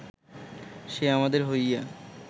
সে আমাদের হইয়া